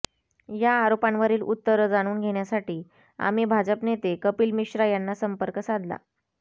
या आरोपांवरील उत्तरं जाणून घेण्यासाठी आम्ही भाजप नेते कपिल मिश्रा यांना संपर्क साधला